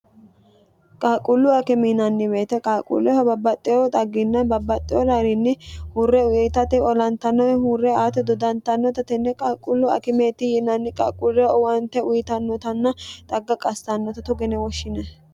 qaaquullu akime yinnanni woyete qaaquulleho babbaxxeeho xagginna babbaxxeo gairiinni huurre uyitate olantannore huurre aati dodantannota tenne qaalquullu akimeetti yinanni qaaquuleho owaante uyitannotanna xagga qassannota togo yine woshshinayi.